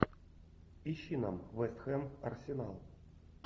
ищи нам вест хэм арсенал